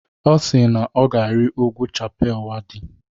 Ọ si na ọ ga-arị ugwu Chappal Waddi.